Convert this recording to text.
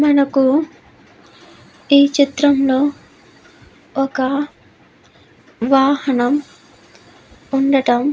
మనకు ఈ చిత్రంలో ఒక వాహనం ఉండటం --